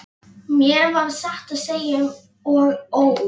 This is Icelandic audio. Mér varð satt að segja um og ó.